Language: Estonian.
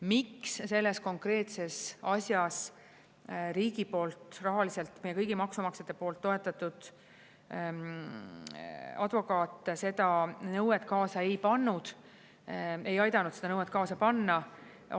Miks selles konkreetses asjas riigi poolt rahaliselt, meie kõigi maksumaksjate poolt toetatud advokaat seda nõuet kaasa ei pannud, ei aidanud seda nõuet kaasa panna?